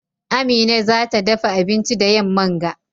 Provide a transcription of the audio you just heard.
Amina za ta dafa abinci da yamman ga.